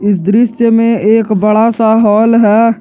इस दृश्य में एक बड़ा सा हॉल है।